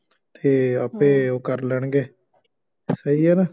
ਅਤੇ ਆਪੇ ਉਹ ਕਰ ਲੈਣਗੇ ਸਹੀ ਹੈ ਨਾ